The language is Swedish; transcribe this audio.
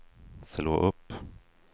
slå upp